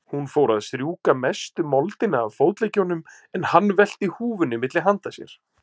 Hún fór að strjúka mestu moldina af fótleggjunum, en hann velti húfunni milli handa sér.